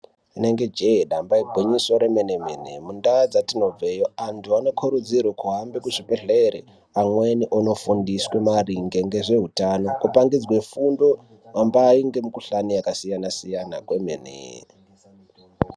Inenge jehe damba igwinyiso remenemene mundawu dzatinobveyi andu anokurudzirwe kuhambe kuchibhedhleya amweni onofundiswe maringe ngezveutano kopangidzwe fundo hambai nemikhuhlani yakasiyana siyana kwemene.